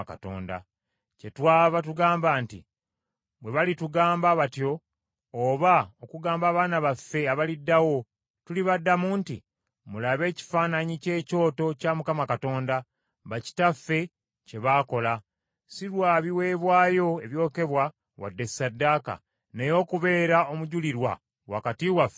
Kyetwava tugamba nti, ‘Bwe balitugamba batyo oba okugamba abaana baffe abaliddawo, tulibaddamu nti, “Mulabe ekifaananyi kye kyoto kya Mukama Katonda, bakitaffe kye baakola, si lwa biweebwayo ebyokebwa wadde ssaddaaka, naye okubeera omujulirwa wakati waffe nammwe.” ’